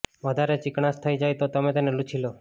વધારે ચીકણાશ થઇ જાય તો તમે તેને લૂંછી લો